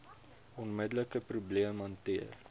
onmiddelike probleem hanteer